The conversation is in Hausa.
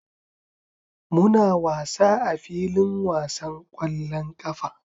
Muna wasa a filin wasan ƙwallon ƙafa.